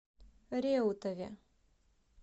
реутове